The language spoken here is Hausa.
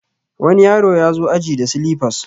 wani yaro ya zo aji da silifas